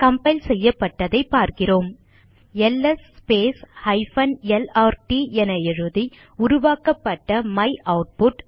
compile செய்யப்பட்டதை பார்க்கிறோம் L S lrt என எழுதி உருவாக்கப்பட்ட மையூட்புட்